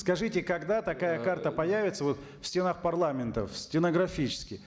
скажите когда такая карта появится вот в стенах парламента стенографически